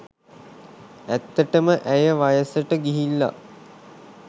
ඇත්තටම ඇය වයසට ගිහිල්ල